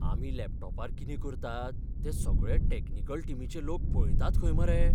आमी लॅपटॉपार कितें करतात ते सगळें टॅक्निकल टिमीचे लोक पळयतात खंय मरे.